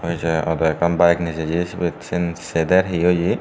eje awde ekkan bike nejeye sen seider hi oye.